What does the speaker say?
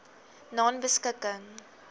nonebeskikking